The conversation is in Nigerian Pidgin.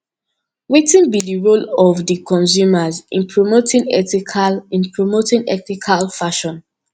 wetin be di role of di consumer in promoting ethical in promoting ethical fashion